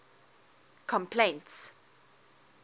complaints